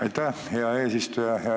Aitäh, hea eesistuja!